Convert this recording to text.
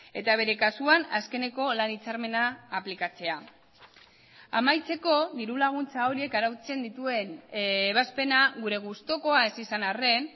eta bere kasuan azkeneko lan hitzarmena aplikatzea amaitzeko diru laguntza horiek arautzen dituen ebazpena gure gustukoa ez izan arren